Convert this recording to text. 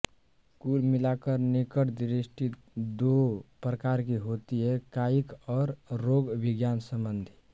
कुल मिलाकर निकट दृष्टि दो प्रकार की होती है कायिक और रोगविज्ञान संबंधी